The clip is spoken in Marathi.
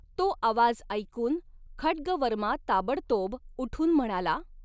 तो आवाज ऐकून खड्गवर्मा ताबडतोब उठून म्हणाला .